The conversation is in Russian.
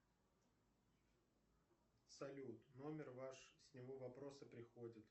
салют номер ваш с него вопросы приходят